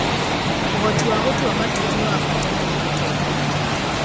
ũhoti wa gũtua matua nĩ wa bata harĩ ũtongoria.